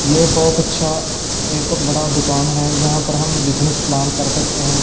ये बहोत अच्छा एक बड़ा दुकान है यहां पर हम बिजनेस प्लान कर सकते हैं।